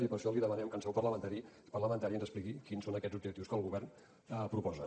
i per això li demanem que en seu parlamentària ens expliqui quins són aquests objectius que el govern proposa